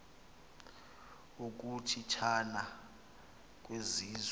ukuchi thana kwezizwe